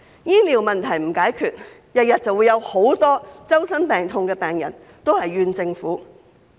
醫療問題若不解決，便會天天都有許多周身病痛的病人埋怨政府。